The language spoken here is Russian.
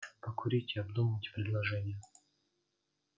покурите обдумайте предложение